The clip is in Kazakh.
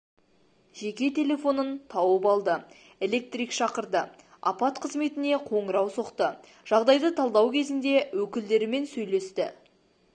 жеке телефонын тауып алды электрик шақырды апат қызметіне қоңырау соқты жағдайды талдау кезінде өкілдерімен сөйлесті